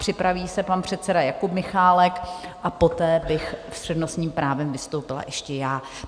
Připraví se pak předseda Jakub Michálek a poté bych s přednostním právem vystoupila ještě já.